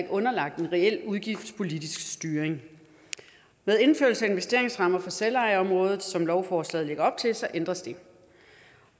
underlagt en reel udgiftspolitisk styring med indførelsen af investeringsrammer for selvejeområdet som lovforslaget lægger op til ændres det